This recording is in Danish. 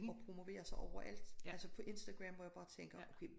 Og promoverer sig overalt altså på Instagram hvor jeg bare tænker okay